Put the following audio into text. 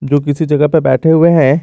जो किसी जगह पे बैठे हुए हैं।